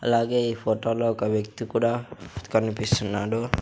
అలాగే ఈ ఫోటోలో ఒక వ్యక్తి కూడా కనిపిస్తున్నాడు.